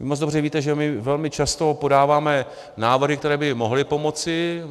Vy moc dobře víte, že my velmi často podáváme návrhy, které by mohly pomoci.